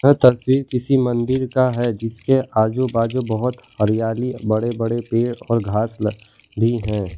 यह तस्वीर किसी मंदिर का है जिसके आजू बाजू बहोत हरियाली बड़े बड़े पेड़ और घास ल भी हैं।